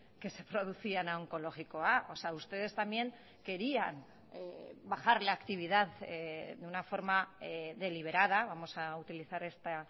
que se producían a onkologikoa o sea ustedes también querían bajar la actividad de una forma deliberada vamos a utilizar esta